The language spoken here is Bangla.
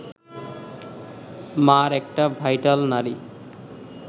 মার একটা ভাইটাল নাড়ি